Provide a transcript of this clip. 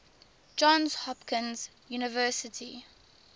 johns hopkins university